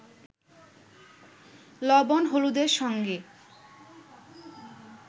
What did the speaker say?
লবণ-হলুদের সঙ্গে